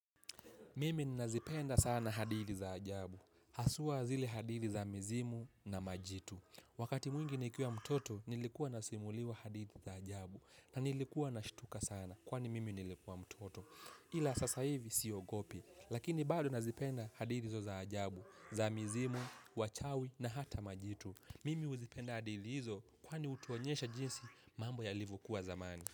Mimi nazipenda sana hadithi za ajabu, haswa zile hadithi za mizimu na majitu. Wakati mwingi nikiwa mtoto nilikuwa nasimuliwa hadithi za ajabu na nilikuwa nashtuka sana kwani mimi nilikuwa mtoto. Ila sasa hivi siogopi, lakini bado nazipenda hadithi hizo za ajabu, za mizimu, wachawi na hata majitu. Mimi huzipenda hadithi hizo kwani hutuonyesha jinsi mambo yalivyokuwa zamani.